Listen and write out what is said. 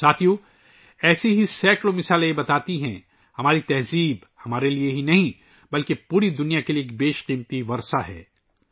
ساتھیو ، ایسی سینکڑوں مثالیں بتاتی ہیں کہ ہماری ثقافت نہ صرف ہمارے لئے بلکہ پوری دنیا کے لئے ایک انمول ورثہ ہے